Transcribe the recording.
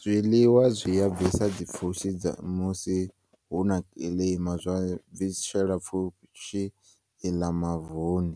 Zwiḽiwa zwiya bvisa dzipfushi dzamusi huna kiḽima zwabvi zwa shela pfushi iḽa mavuni